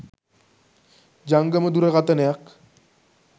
ජංගම දුරකතනයක්.